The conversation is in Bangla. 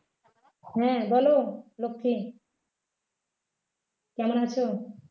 হ্যাঁ বলো লক্ষ্মী কেমন আছো